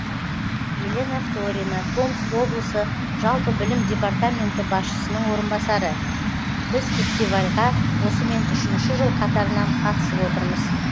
елена вторина томск облысы жалпы білім департаменті басшысының орынбасары біз фестивальға осымен үшінші жыл қатарынан қатысып отырмыз